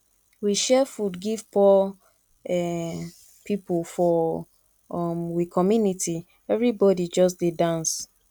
we share food give poor um pipo for um we community everybodi just dey dance